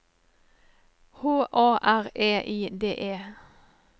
H A R E I D E